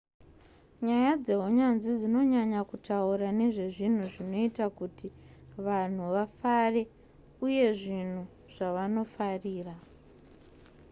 nyaya dzeunyanzvi dzinonyanya kutaura nezvezvinhu zvinoita kuti vanhu vafare uye zvinhu zvavanofarira